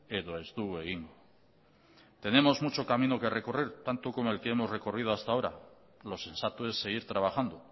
edo ez dugu egingo tenemos mucho camino que recorrer tanto como el que hemos recorrido hasta ahora lo sensato es seguir trabajando